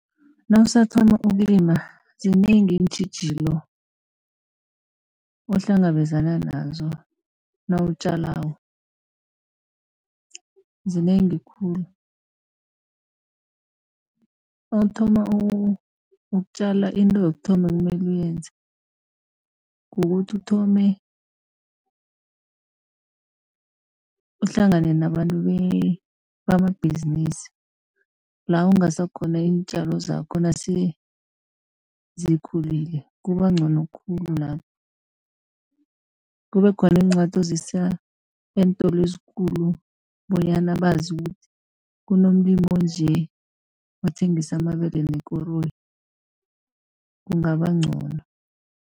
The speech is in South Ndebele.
Nawusathoma ukulima zinengi iintjhijilo ohlangabezana nazo nawutjalako, zinengi khulu. Nawuthoma ukutjala into yokuthoma ekumele uyenze kukuthi uthome uhlangane nabantu bamabhizinisi, la ungasa khona iintjalo zakho nase zikhulile, kuba ncono khulu lapho. Kube khona iincwadi ozisa eentolo ezikulu, bonyana bazi ukuthi kunomlimi onje othengisa amabele nekoroyi, kungaba ncono.